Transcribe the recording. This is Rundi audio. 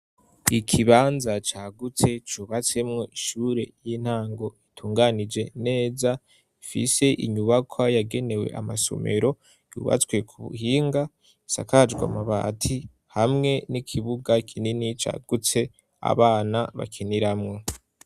Ikibanza cagutse cubatsemo ishure y'intango itunganije neza, ifise inyubakwa yagenewe amasomero, yubatswe ku buhinga, isakajwe amabati hamwe n'ikibuga kinini cagutse abana bakiniramwo.